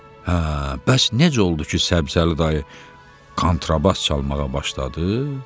Hə, bəs necə oldu ki, Səbzəli dayı kontrabas çalmağa başladı?